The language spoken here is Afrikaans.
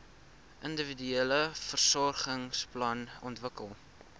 individuele versorgingsplan ontwikkel